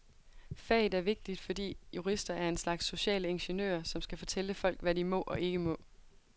Faget er vigtigt, fordi jurister er en slags sociale ingeniører, som skal fortælle folk, hvad de må og ikke må.